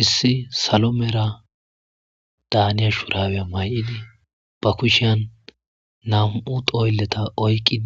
Issi salo mera daaniya shuraweya may7idi ba kushiyan nam7u doylleta oykqi